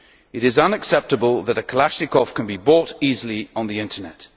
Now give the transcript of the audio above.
It is unacceptable that a Kalashnikov can be bought easily on the internet.